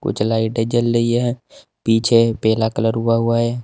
कुछ लाइटे जल रही हैं पीछे पीला कलर हुआ हुआ है।